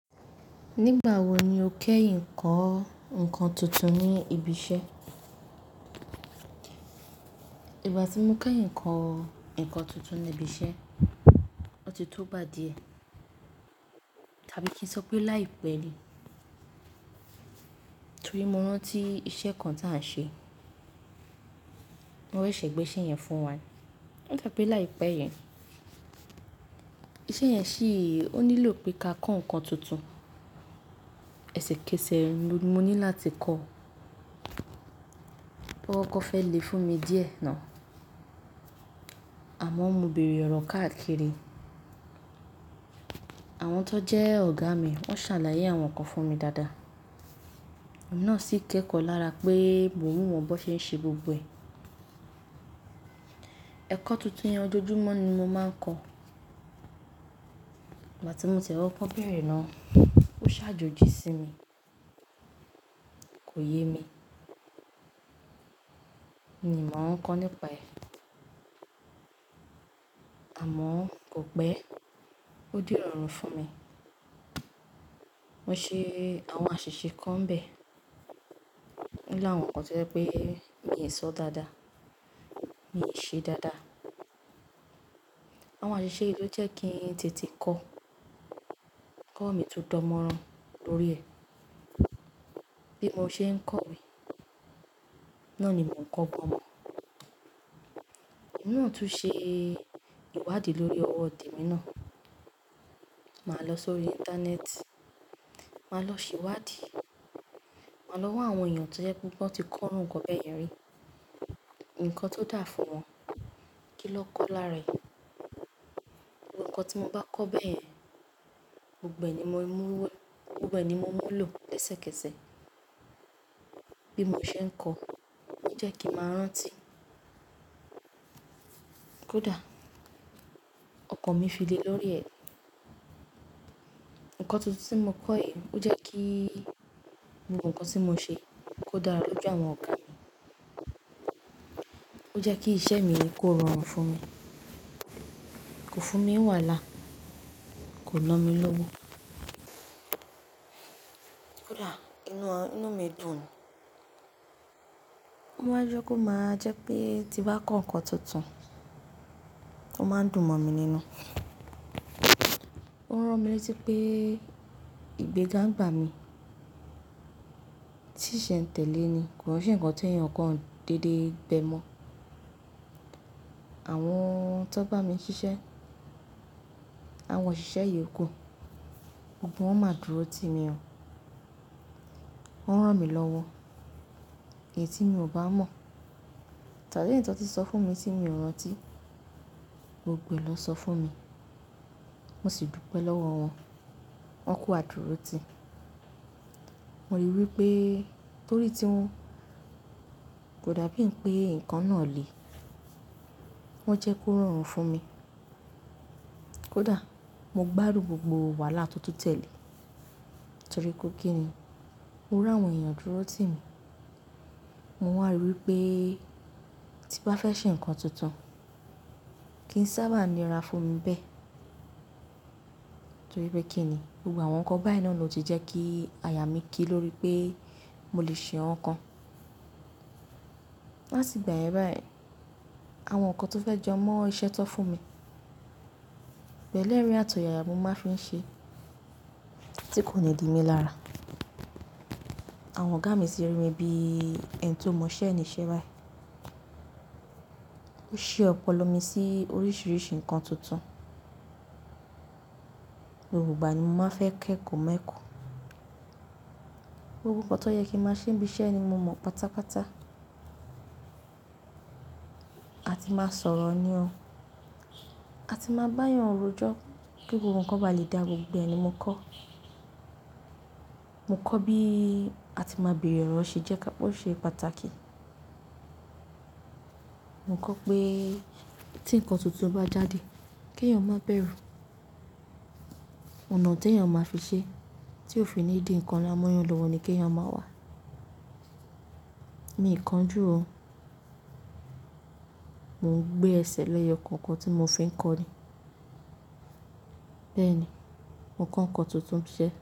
Nígbà wo ni o kẹ́yin ìkọ́ nǹkan tuntun ní ibi iṣẹ́? Ìgbà tí mo kẹ́ kọ́ nǹkan tuntun ní ibi iṣẹ́, ó ti tógba díẹ̀ tàbí kí n sọ pé láìpẹ́ ni. Torí mo rántí iṣẹ́ kan tí à ń ṣe, wọ́n ṣese gbé iṣẹ́ yẹn fún wa ní, n torí pé láìpẹ́ yẹn. Iṣẹ́ yẹn ṣìí, ó nílò pé ká kọ́ nǹkan tuntun. Ẹ̀ṣẹ̀kẹ̀sẹ̀ mo ní láti kọ́. Ó kọ́kọ́ fẹ́ le fún mi díẹ̀ náà, àmọ́ mo bèèrè ọ̀rọ̀ káàkiri. Àwọn tó jẹ́ ọ̀gá mi, wọ́n ṣàlàyé àwọn nǹkan fún mi dáadáa. Èmi nà sí kékọ́ lára pé mo ń wo wọn bó ṣe ń ṣe gbogbo ẹ̀. Ẹ̀kọ́ tuntun yẹn ojoojúmọ́ ni mo máa ń kọ́. Ìgbà tí mo tiẹ̀ kọ́kọ́ bẹ́ẹ̀rẹ̀ náà, ó ṣàjòjí sí mi, kò ye mi. Mi màá ń kankan nípa ẹ̀, àmọ́ kò pẹ́, ó di irọrùn fún mi. Mo ṣe àwọn àṣìṣe kan n bẹ́ẹ̀, ó láwọn nkan tó jẹ́ pé mi ò ṣọ́ dáadáa, mi ṣe dáadáa. Àwọn àṣìṣe yìí ló jẹ́ kí n tètè kọ́. Ẹ̀kọ́ mi tún dan mọ́ran lórí ẹ̀. Bí mo ṣe ń kọ́ mí, náà ni mò ń kọ́ gbọ̀n mo. Emi náà tún ṣe ìwádìí lórí ọwọ́ temi náà. Màá lọ sórí íńtánẹ́ẹ̀tì, màá lọ ṣe ìwádìí, màá lọ wá àwọn èèyàn tó jẹ́ pé wọ́n ti kọ́ àwọn irú nǹkan bẹ́ẹ̀ yẹn rí, nǹkan tó dà fún wọn, kí ló kọọ́ lára ẹ̀. Gbogbo nǹkan tí mo bá kọ́ bẹ́ẹ̀ yẹn, gbogbo ẹ̀ ni mo múwé, gbogbo ẹ̀ ni mo mú lò lẹsẹ̀kẹ̀sẹ̀ bí mo ṣe ń kọ́, ó jẹ́ kí n màá rántí. Kódà ọkàn mi fi le lórí ẹ̀. Ẹ̀kọ́ tuntun tí mo kọ́ yìí, ó jẹ́ kí gbogbo nǹkan tí mo ṣe kó dára lójú àwọn ọ̀gá mi. Ó jẹ́ kí iṣẹ́ mi kó rọrùn fún mi, kò fún mi n wàhálà, kò no mí lọ́wọ́. Kódà inú, inú mi dùn ni. Ó máa ń jẹ́ kó máa jẹ́ pé tí n bá kọ́ nǹkan tuntun, ó máa ń dùn mọ̀ mi nínú. Ó ń rán mi létí pé ìgbéga ń bà mí. Tí sẹ́ ń tẹ̀lé ni, kò ń ṣe ǹkan teyàn ǹkan dédé gbẹ́ mọ́. Àwọn tó bá mi ṣiṣẹ́, àwọn òṣìṣẹ́ yòókù, gbogbo wọ́n máa dúró ti mi ọ̀. Wọ́n rán mi lọ́wọ́ èyí tí mi ò bá mọ̀ tàbí èyí ton tún sọ fún mi tí mi ò rántí, gbogbo ẹ̀ lọ́ sọ fún mi. Mo sì dúpẹ́ lọ́wọ́ wọ́n, wọ́n ku adúró ti. Mo rí wí pé torí tí wọn kò dàbí pé nǹkan náà le, wọ́n jẹ́ kó rọrùn fún mi. Kódà mo gbádùn gbogbo wàhálà tó tún tẹ̀lé, torí ko kí ni, mo rí àwọn èèyàn dúró ti mi. Mo wà rí wí pé tí n bá fẹ́ ṣe ǹkan tuntun, kí n sábà nira fún mi bẹ́ẹ̀ torí pé kí ni gbogbo àwọn nǹkan bẹ́ẹ̀ náà ló ti jẹ́ kí àyà mí kí lórí pé mo lè ṣe nǹkan kan. Láti ìgbà yẹn báyìí, àwọn nǹkan tó fẹ́ jọ mọ́ iṣẹ́ tó fún mi, pẹ̀lú ẹ̀rín àtò yàyá mo máa fi ń ṣe tí kò ní di mi lára. Àwọn ọ̀gá mi sì rí mi bí ẹni tó mọ iṣẹ́ ẹni iṣẹ́ báyìí. Ó ṣi ọ̀pọ̀lọ mi sí oríṣìíríṣìí ǹkan tuntun. Gbogbo ìgbà ni mo máa ń fẹ́ kẹ́kọ̀ọ́ mẹ́kọ̀ọ́. Gbogbo ǹkan tó yẹ kí màá ṣe níbi iṣẹ́ ni mo mọ̀ pátápátá. A ti máa sọ̀rọ̀ ní ọ, a ti máa bá yàn rújó kí gbogbo ǹkan bá lè dà gbogbo ẹ̀ ni mo kọ́. Mo kọ́ bí a ti máa bèèrè ọ̀rọ̀ ṣe jẹ́ ká, ọ̀ ṣe pàtàkì. Mo kọ́ pé tí ǹkan tuntun bá jáde, kí èèyàn má bẹ̀rù. Ọ̀nà tí èèyàn máa fi ṣe tí ó fi ní di ǹkan la mọ́yàn lọ́wọ́ ni kí èèyàn máa wà. Mi ì kanjú ò. Mò ń gbé ẹsẹ̀ lẹ́yọ kọ̀ọ̀kan tí mo fi ń kọ́ ni. Bẹ́ẹ̀ ni, mo kọ́ ǹkan tuntun ṣẹ́